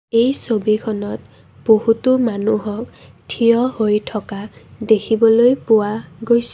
এই ছবিখনত বহুতো মানুহক থিয় হৈ থকা দেখিবলৈ পোৱা গৈছে।